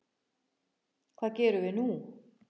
Hvað gerum við nú?